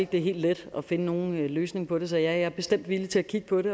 det er helt let at finde nogen løsning på det så jeg er bestemt villig til at kigge på det